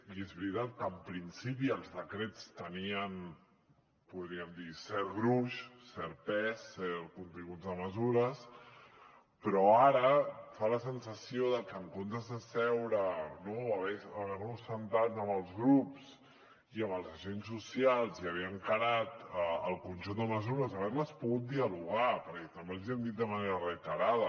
i és veritat que en principi els decrets tenien podríem dir cert gruix cert pes continguts de mesures però ara fa la sensació que en comptes de seure no haver nos assegut amb els grups i amb els agents socials i haver encarat el conjunt de mesures haver les pogut dialogar perquè també els ho hem dit de manera reiterada